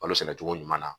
Kalo sɛnɛ cogo ɲuman na